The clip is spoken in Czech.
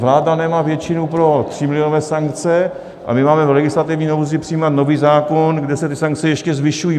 Vláda nemá většinu pro třímilionové sankce a my máme v legislativní nouzi přijímat nový zákon, kde se ty sankce ještě zvyšují.